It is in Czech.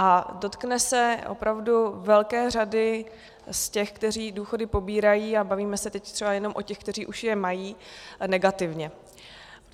A dotkne se opravdu velké řady z těch, kteří důchody pobírají, a bavíme se teď třeba jenom o těch, kteří už je mají, negativně.